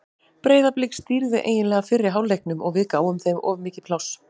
Breiðablik stýrði eiginlega fyrri hálfleiknum og við gáfum þeim of mikið pláss.